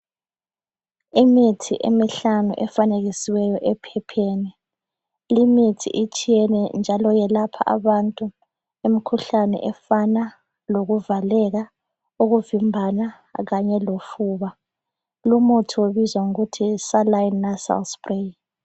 Imithi emihlanu efanekisiweyo ephepheni limithi itshiyene njalo iyelapha abantu imkhuhlane efana lokuvaleka, ukuvimbana kanye lofuba. Lumuthi ubizwa ngokuthi yi Saline Nasal Spray.